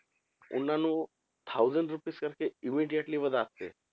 ਉਹਨਾਂ ਨੂੰ thousand rupees ਕਰਕੇ immediately ਵਧਾ ਕੇ